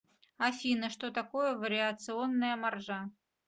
афина что такое вариационная маржа